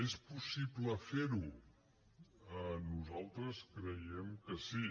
és possible fer ho nosaltres creiem que sí